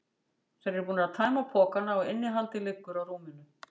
Þeir eru búnir að tæma pokana og innihaldið liggur á rúminu.